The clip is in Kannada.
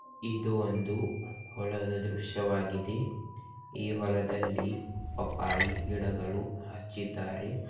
ಇದು ಒಂದು ಹೊಲದ ದೃಶ್ಯವಾಗಿದೆ ಈ ಹೊಲದಲ್ಲಿ ಪಪ್ಪಾಯಿ ಗಿಡಗಳು ಹಚ್ಚಿದ್ದಾರೆ.